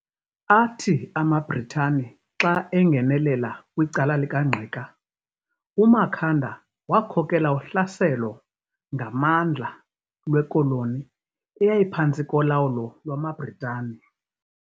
Athi amaBritani xa engenelela kwicala lika Ngqika, uMakhanda wakhokela uhlaselo ngamandla lweKoloni eyayiphantsi kolawulo lwamaBritani.